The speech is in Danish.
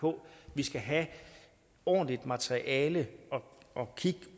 på vi skal have ordentligt materiale at kigge